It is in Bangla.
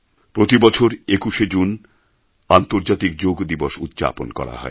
প্রতিবছর ২১ জুন আন্তর্জাতিক যোগ দিবস উদ্ যাপন করা হয়